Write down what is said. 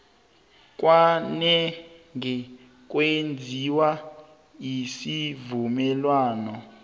kwanange kwenziwa isivumelwano